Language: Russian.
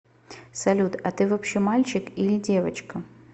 салют а ты вообще мальчик или девочка